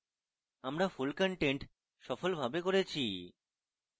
আমরা full content সফলভাবে করেছি